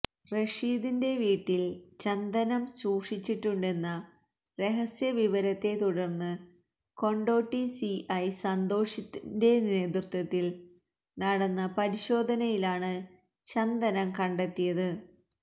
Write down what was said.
റഷീദിന്റെ വീട്ടില് ചന്ദനം സൂക്ഷിച്ചിട്ടുണ്ടെന്ന രഹസ്യവിവരത്തെ തുടര്ന്ന് കൊണ്ടോട്ടി സിഐ സന്തോഷിന്റെ നേതൃത്വത്തില് നടന്ന പരിശോധനയിലാണ് ചന്ദനം കണ്ടെത്തിയത്